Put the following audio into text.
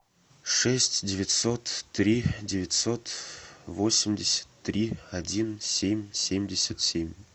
шесть девятьсот три девятьсот восемьдесят три один семь семьдесят семь